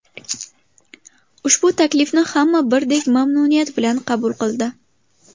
Ushbu taklifni hamma birdek mamnuniyat bilan qabul qildi.